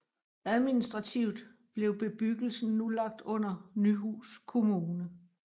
Administrativt blev bebyggelsen nu lagt under Nyhus kommune